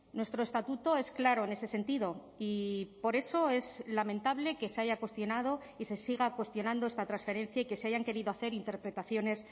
nuestro estatuto es claro en ese sentido y por eso es lamentable que se haya cuestionado y se siga cuestionando esta transferencia y que se hayan querido hacer interpretaciones